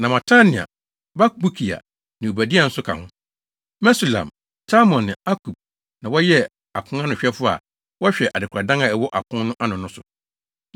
Na Matania, Bakbukia ne Obadia nso ka ho. Mesulam, Talmon ne Akub na wɔyɛ aponanohwɛfo a wɔhwɛ adekoradan a ɛwɔ apon no ano no so.